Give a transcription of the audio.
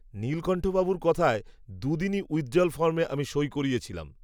নীলকন্ঠবাবুর কথায় দুদিনই উইথড্রয়াল ফর্মে আমি সই করিয়েছিলাম